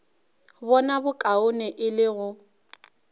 bona bokaone e le go